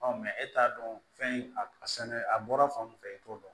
e t'a dɔn fɛn a bɔra fan o fan i t'o dɔn